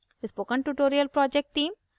spoken tutorial project team